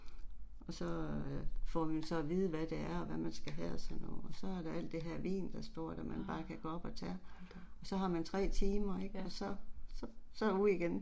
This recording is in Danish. Og så øh får vi så at vide hvad det er og hvad man skal have og sådan noget og så er der al det her vin der står der man bare kan gå op og tage. Så har man 3 timer ik, og så så så ud igen